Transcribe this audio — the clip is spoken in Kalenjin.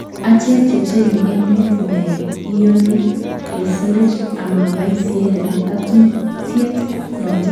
Achek ke chenge emet ne iyoni ke sirech ama baisye ng' atutiet noto